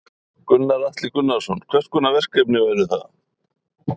Gunnar Atli Gunnarsson: Hvers konar verkefni væru það?